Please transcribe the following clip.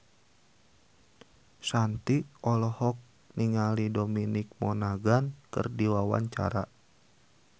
Shanti olohok ningali Dominic Monaghan keur diwawancara